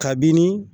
Kabini